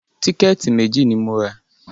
Tíkẹ̀tì méjì ni mo rà